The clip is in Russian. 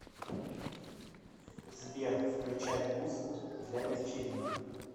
сбер включай музыку для вечеринок